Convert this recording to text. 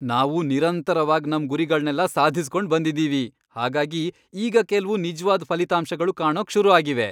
ನಾವು ನಿರಂತರವಾಗ್ ನಮ್ ಗುರಿಗಳ್ನೆಲ್ಲ ಸಾಧಿಸ್ಕೊಂಡ್ ಬಂದಿದೀವಿ, ಹಾಗಾಗಿ ಈಗ ಕೆಲ್ವು ನಿಜ್ವಾದ್ ಫಲಿತಾಂಶಗಳು ಕಾಣೋಕ್ ಶುರು ಆಗಿವೆ.